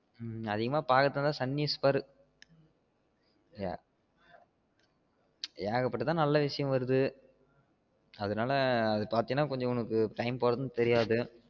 நீ அதிகம்மா பாக்குறதா இருந்தா sun news பாரு ஏகப்பட்டது நல்ல விசியம் வருது அதனால அத பாத்த கொஞ்சம் உனக்கு time போறது தெரியாது